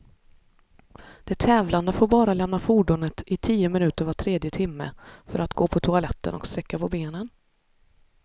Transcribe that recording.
De tävlande får bara lämna fordonet i tio minuter var tredje timme, för att gå på toaletten och sträcka på benen.